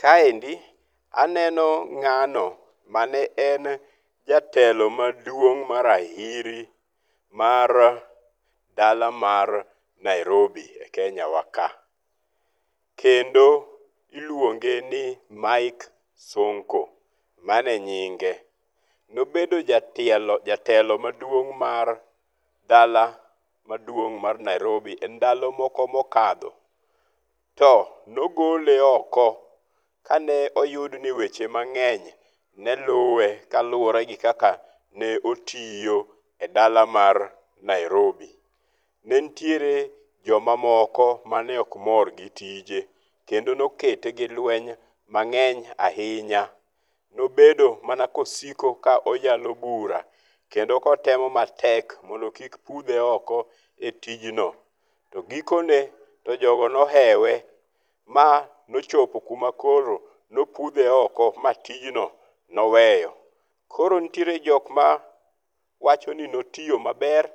Kaendi aneno ng'ano mane en jatelo maduong ma rahiri mar dala mar Nairobi e Kenya wa ka. Kendo iluonge ni Mike Sonko. Mano enyinge. Nobedo jatielo jatelo maduong' mar dala maduong' mar Nairobi e ndalo moko mokadho. To nogole oko kane oyud ni weche mang'eny ne luwe ka luwore gi kaka ne otiyo e dala mar Nairobi. Ne nitiere jomamoko mane ok mor gi tije kendo nokete gi lweny mang'eny ahinya. Nobedo mana kosiko ka oyalo bura kendo kotemo matek mondo kik pudhe oko e tijno. To giko ne to jogo nohewe ma nochopo kuma koro nopudhe oko ma tijno noweyo. Koro nitiere jokma wacho ni notiyo maber.